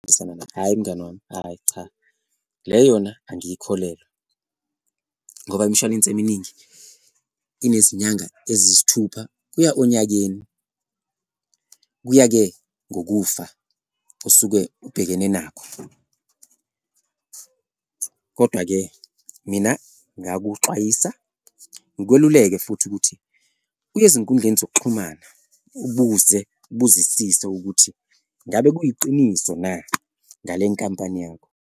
Hhayi, mngani wami, hhayi cha, le yona angiyikholelwa ngoba imshwalense eminingi inezinyanga eziyisithupha kuya onyakeni. Kuya-ke ngokufa osuke ubhekene nakho kodwa-ke mina ngingakuxwayisa ngikweluleke futhi ukuthi uye ezinkundleni zokuxhumana, ubuze ubuzisise ukuthi ngabe kuyiqiniso na ngale nkampani yakho.